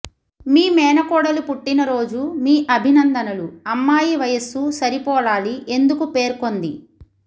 మీ మేనకోడలు పుట్టినరోజు మీ అభినందనలు అమ్మాయి వయస్సు సరిపోలాలి ఎందుకు పేర్కొంది